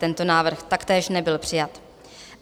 Tento návrh taktéž nebyl přijat.